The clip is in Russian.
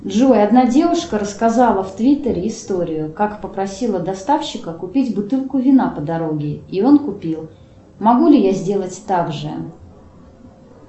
джой одна девушка рассказала в твиттере историю как попросила доставщика купить бутылку вина по дороге и он купил могу ли я сделать также